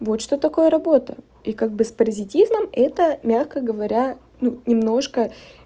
вот что такое работа и как бы с паразитизмом это мягко говоря ну немножко